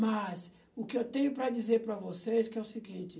Mas o que eu tenho para dizer para vocês que é o seguinte.